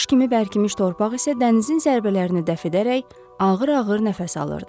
Daş kimi bərkimiş torpaq isə dənizin zərbələrini dəf edərək ağır-ağır nəfəs alırdı.